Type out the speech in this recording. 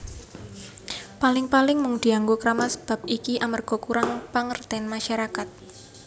Paling paling mung dianggo kramas Bab iki amarga kurang pangertene masyarakat